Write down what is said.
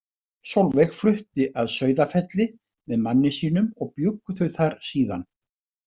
Solveig flutti að Sauðafelli með manni sínum og bjuggu þau þar síðan.